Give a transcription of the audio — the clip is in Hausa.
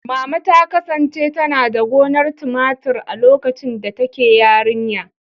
Mama ta kasance tana da gonar tumatur a lokacin da take yarinya.